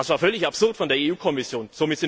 Das war völlig absurd von der Kommission.